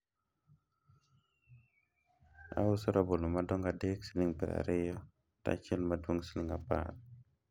auso rabolo madongo adek siling' piero ariyo to achiel madwong' siling' apar